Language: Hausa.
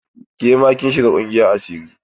Ke ma kin shiga ƙungiyar asiri?